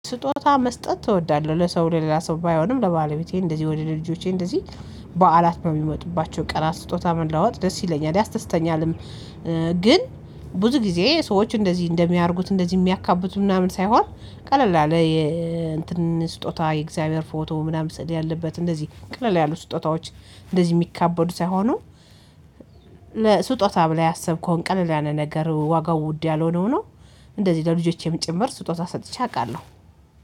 ስጦታ መስጠት እወዳለሁ ለሰው ሌላ ሰው ባይሆንም ለባለቤቴ እንደዚህ ወደ ልጆቼ እንደዚህ በዓላት ነው የሚሞጡባቸው ቀናት ስጦታ መለዋወጥ ደስ ይለኛል ያስተስተኛልም። ግን ብዙ ጊዜ ሰዎች እንደዚህ እንደሚያረጉት እንደዚህ እሚያካብዱ ምናምን ሳይሆን ቀለል ያለ የእንትን ስጦታ የእግዚአብሔር ፎቶ ምናምን ስዕል ያለበት እንደዚህ ቀለል ያሉ ስጦታዎች እንደዚህ የሚካበዱ ሳይሆኑ ለስጦታ ብለህ ያሰብከውን ቀለል ያለ ነገር ዋጋው ውድ ያልሆነ ሁኖ እንደዚህ ለልጆቼም ጭምር ስጦታ ሰጥቼ አቃለሁ።